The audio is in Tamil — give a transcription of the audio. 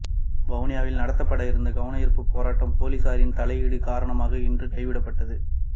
வவுனியாவில் நடாத்தப்பட இருந்த கவனயீர்ப்பு போராட்டம் பொலிஸாரின் தலையீடு காரணமாக இன்று கைவிடப்பட்டது